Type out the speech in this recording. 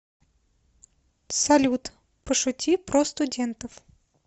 салют пошути про студентов